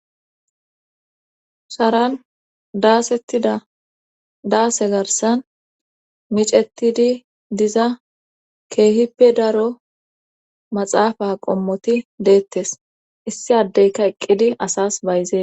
Sharan daasettida daase garsan micetidi diza keehippe daro maxaafa qommoti deettes issi addeyka eqqidi asas bayzee